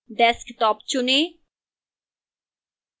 desktop चुनें